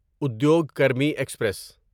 Udyog Karmi express